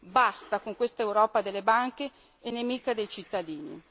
Basta con questa Europa delle banche e nemica dei cittadini.